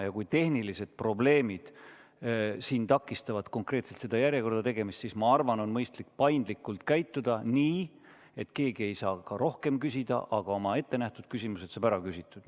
Ja kui tehnilised probleemid takistavad konkreetselt selles järjekorras minemist, siis ma arvan, et on mõistlik paindlikult käituda nii, et keegi ei saa ka rohkem küsida, aga oma ettenähtud küsimused saab ära küsitud.